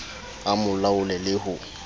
a mo laole le ho